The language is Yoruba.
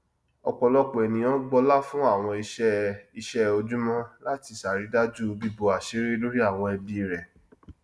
ọpọlọpọ ènìyàn gbọlá fún àwọn iṣẹ iṣẹ ojúmọ láti ṣàrídájú bíbò àṣírí lórí àwọn ẹbí rẹ